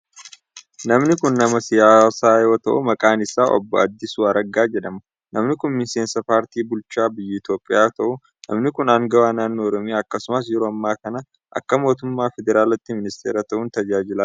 Namni kun nama siyaasaa yoo ta'u, maqaan saa Obbo Addisuu Araggaa jedhama. Namni kun miseensa paartii bulchaa biyya Itoophiyaa yoo ta'u, namni kun aangawa naannoo Oromiyaa akkasumas yeroo ammaa kana akka mootummaa federaalaatti ministeera ta'uun tajaajilaa jira.